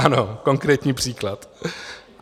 Ano, konkrétní příklad.